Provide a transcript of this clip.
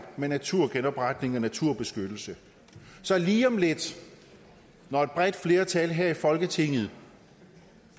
med naturgenopretning og naturbeskyttelse så lige om lidt når et bredt flertal her i folketinget